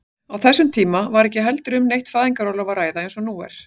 Á þessum tíma var ekki heldur um neitt fæðingarorlof að ræða eins og nú er.